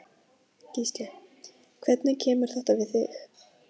Gísli: Hvernig kemur þetta við þig?